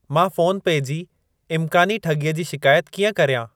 मां फ़ोन पे जी इम्कानी ठॻीअ जी शिकायत कीअं कर्यां?